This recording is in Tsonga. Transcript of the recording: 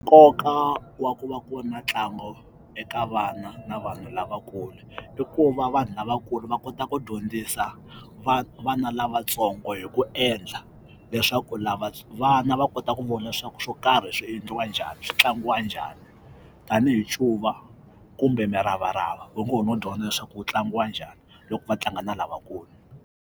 Nkoka wa ku va ku ri na ntlangu eka vana na vanhu lava kule i ku va vanhu lava ku ri va kota ku dyondzisa vana lavatsongo hi ku endla leswaku lava vana va kota ku vona leswaku swo karhi swi endliwa njhani swi tlangiwa njhani tanihi ncuva kumbe muravarava va ngo ho no dyondza leswaku wu tlangiwa njhani loko va tlanga na lavakulu.